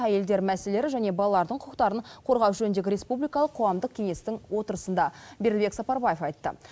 әйелдер мәселелері және балалардың құқықтарын қорғау жөніндегі республикалық қоғамдық кеңестің отырысында бердібек сапарбаев айтты